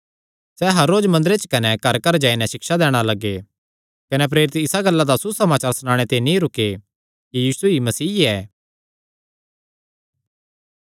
सैह़ हर रोज मंदरे च कने घरघर जाई नैं सिक्षा दैणा लग्गे कने प्रेरित इसा गल्ला दा सुसमाचार सणाने ते नीं रुके कि यीशु ई मसीह ऐ